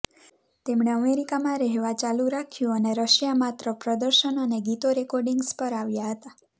તેમણે અમેરિકામાં રહેવા ચાલુ રાખ્યું અને રશિયા માત્ર પ્રદર્શન અને ગીતો રેકોર્ડીંગ્સ પર આવ્યા હતા